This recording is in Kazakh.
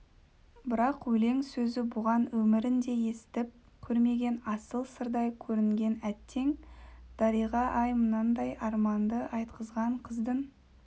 бірақ өлең сөзі бұған өмірінде естіп көрмеген асыл сырдай көрінген әттең дариға-ай мынандай арманды айтқызған қыздың